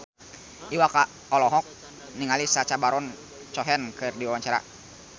Iwa K olohok ningali Sacha Baron Cohen keur diwawancara